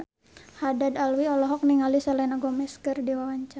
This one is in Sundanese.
Haddad Alwi olohok ningali Selena Gomez keur diwawancara